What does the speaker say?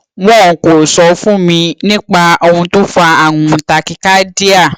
wọn kò sọ fún mi nípa ohun tó fa àrùn tachycardia